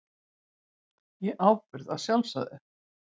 Í ábyrgð að sjálfsögðu.